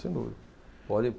Sem dúvida. Pode